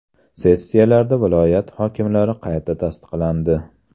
Sessiyalarda viloyat hokimlari qayta tasdiqlandi.